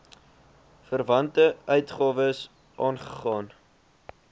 verwante uitgawes aangegaan